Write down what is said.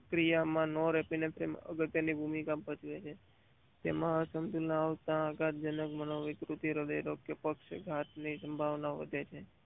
કિયા માં નો રહેતી ભૂમિકા ભજવે છે. તેમાં અસંતુલિત આવતા આઘાત જનક મનોવિકૃત હૃદય કે પક્ષઘાતની સંભાવના વધે છે.